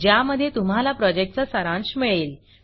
ज्यामध्ये तुम्हाला प्रॉजेक्टचा सारांश मिळेल